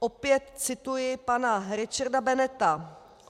Opět cituji pana Richarda Bennetta.